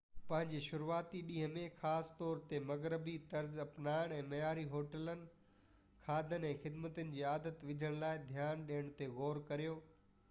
پنهنجي شروعاتي ڏينهن ۾ خاص طور تي مغربي-طرز اپنائڻ ۽ معياري هوٽل کاڌن ۽ خدمتن جي عادت وجهڻ لاءِ ڌيان ڏيڻ تي غور ڪريو